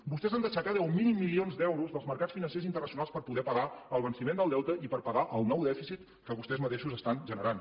vostès han d’aixecar deu mil milions d’euros dels mercats financers internacionals per poder pagar el venciment del deute i per pagar el nou dèficit que vostès mateixos estan generant